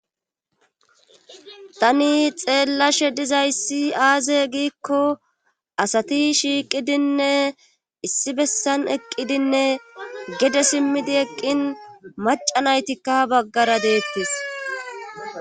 tani xeellashe dizayssi aaze giikko asati shiiqidinne issi bessan eqqidinne gede simmidi eqqin macanaytikka baggara deettis